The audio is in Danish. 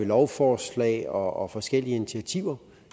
lovforslag og forskellige initiativer